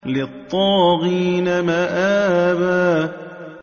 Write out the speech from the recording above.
لِّلطَّاغِينَ مَآبًا